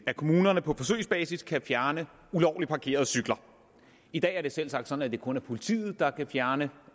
at kommunerne på forsøgsbasis kan fjerne ulovligt parkerede cykler i dag er det selvsagt sådan at det kun er politiet der kan fjerne